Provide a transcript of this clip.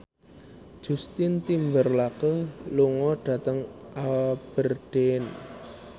Justin Timberlake lunga dhateng Aberdeen